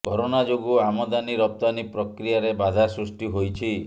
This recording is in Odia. କରୋନା ଯୋଗୁ ଆମଦାନୀ ରପ୍ତାନୀ ପ୍ରକ୍ରିୟାରେ ବାଧା ସୃଷ୍ଟି ହୋଇଛି